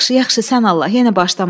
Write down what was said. Yaxşı, yaxşı, sən Allah, yenə başlama.